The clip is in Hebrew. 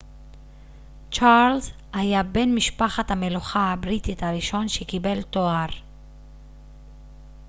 צ'רלס היה בן משפחת המלוכה הבריטית הראשון שקיבל תואר